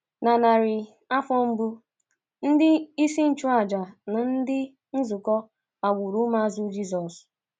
Na narị afọ mbụ, ndị isi nchụàjà na ndị ndú nzukọ kpagburu ụmụazụ Jizọs.